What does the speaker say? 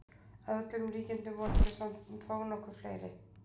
Að öllum líkindum voru þau samt þó nokkuð fleiri.